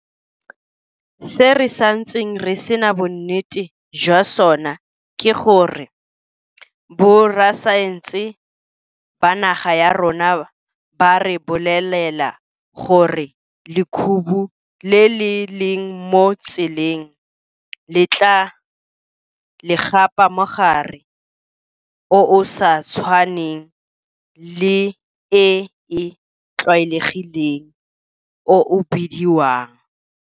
Se re santseng re sena bonnete jwa sona ke gore borasaense ba naga ya rona ba re bolelela gore lekhubu le le leng mo tseleng le tla le gapa mogare o o sa tshwaneng le e e tlwaelegileng o o bediwang.